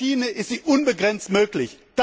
Bei der Schiene ist sie unbegrenzt möglich.